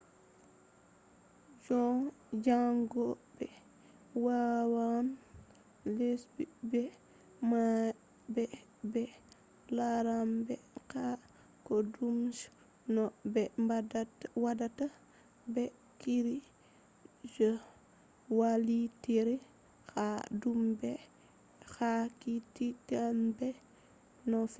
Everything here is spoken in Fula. jangobe wawan lendugo bibbe mabbe be laranbe ha kodume je no be watta. be kikkide limobe je vallitirta ha dou be hakkilinta, be tokkugo no hahdi